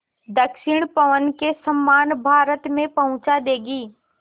दक्षिण पवन के समान भारत में पहुँचा देंगी